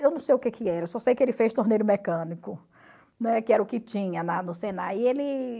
Eu não sei o que que era, só sei que ele fez torneiro mecânico, né, que era o que tinha na no Senai. E ele...